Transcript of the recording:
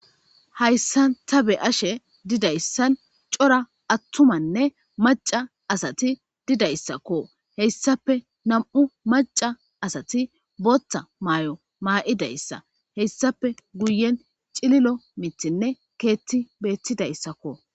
hayssan ta be'ashe didayssan cora attumanne maca asati didayssakko heyssape nam7u maca asati boththa maay7o maa7idayssa heyssape guyen cililo mithinne keetti beettidayssakko